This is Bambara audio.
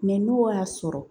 n'o y'a sɔrɔ